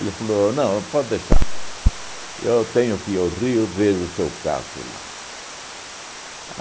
Ele falou, não, pode deixar, eu tenho que ir ao Rio vejo o seu caso lá.